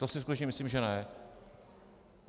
To si skutečně myslím že ne.